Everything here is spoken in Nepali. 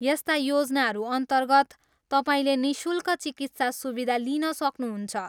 यस्ता योजनाहरू अन्तर्गत, तपाईँले निःशुल्क चिकित्सा सुविधा लिन सक्नुहुन्छ।